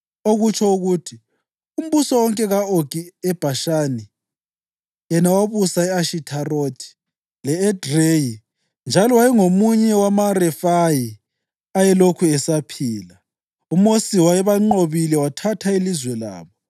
okutsho ukuthi, umbuso wonke ka-Ogi eBhashani, yena owabusa e-Ashitharothi le-Edreyi njalo wayengomunye wamaRefayi ayelokhu esaphila. UMosi wayebanqobile wathatha ilizwe labo.